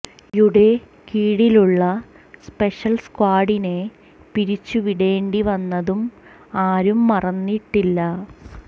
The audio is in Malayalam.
യുടെ കീഴിലുള്ള സ്പെഷൽ സ്ക്വാഡിനെ പിരിച്ചു വിടേണ്ടി വന്നതും ആരും മറന്നിട്ടില്ല